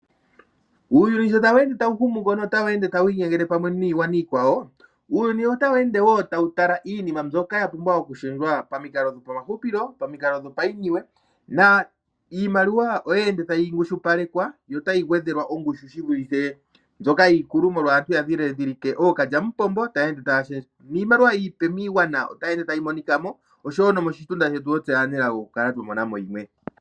Uuyuni sho ta wu ende ta wu humu komeho no ta wu endele pamwe niigwana iikwawo, uuyuni ota wu ende woo ta wu tala iinima mbyoka yo ku shendjwa pamikalo dhopamahupilo, pamukalo dhopainiwe. Iimaliwa oye ende ta yi ngushupalekwa yo ta yi gwedhelwa ongushu, shivulithe monle. Ookalyamupombo oya ya ende ta ya shendje, niimaliwa iipe Ora yi ende ea yi monikamo osho wo nomoshitunda shetu oyi li ta yi monikamo.